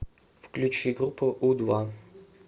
включи группу у два